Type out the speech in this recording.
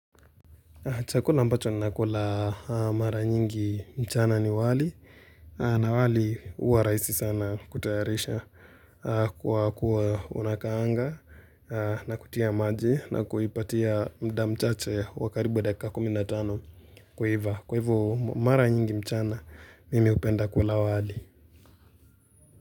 Chakula ambacho ninakula mara nyingi mchana ni wali na wali huwa rahisi sana kutayarisha kwa kuwa unakaanga na kutia maji na kuipatia muda mchache wa karibu dakika 15 kuiva kwa hivyo mara nyingi mchana mimi hupenda kula wali.